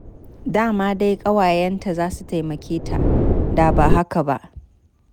Da ma dai ƙawayenta za su taimake ta da ba haka ba.